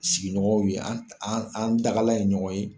Sigiɲɔgɔn ye an dagalan ye ɲɔgɔn ye